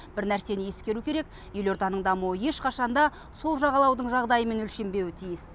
бір нәрсені ескеру керек елорданың дамуы ешқашан да сол жағалаудың жағдайымен өлшенбеуі тиіс